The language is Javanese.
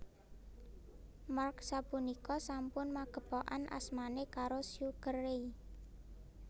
Mark sapunika sampun magépokan asmané karo Sugar Ray